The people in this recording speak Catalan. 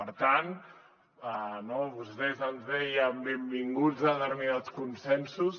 per tant no vostès ens deien benvinguts determinats consensos